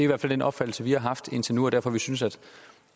hvert fald den opfattelse vi har haft indtil nu er derfor vi synes at